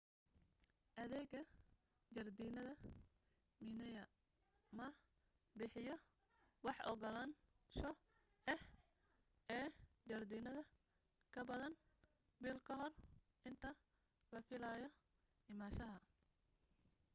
adeega jardiinada minae ma bixiyo wax ogolaansho ah ee jardiinada kabadan bil kahor inta la filaayo imaanshaha